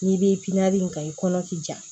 N'i bɛ in kan i kɔnɔ ti ja